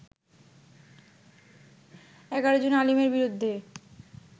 ১১ June আলীমের বিরুদ্ধে